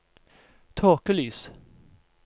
tåkelys